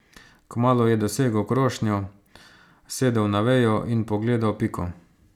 Kmalu je dosegel krošnjo, sedel na vejo in pogledal Piko.